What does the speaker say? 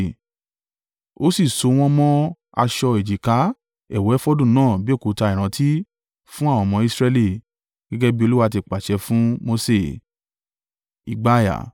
Ó sì so wọ́n mọ́ aṣọ èjìká ẹ̀wù efodu náà bí òkúta ìrántí fún àwọn ọmọ Israẹli, gẹ́gẹ́ bí Olúwa ti pàṣẹ fún Mose.